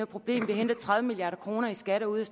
problem vi henter tredive milliard kroner i skatter ude